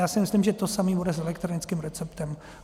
Já si myslím, že to samé bude s elektronickým receptem.